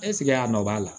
a nɔ b'a la